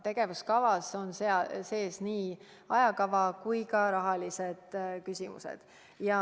Tegevuskavas on kirjas nii ajakava kui ka rahaküsimused.